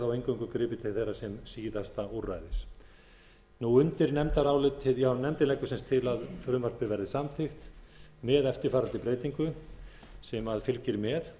og eingöngu gripið til þeirra sem síðasta úrræðis nefndin leggur til að frumvarpið verði samþykkt með eftirfarandi breytingu sem fylgir með